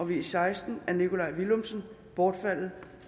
v seksten af nikolaj villumsen bortfaldet